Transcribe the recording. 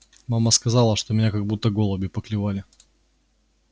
мама сказала что меня как будто голуби поклевали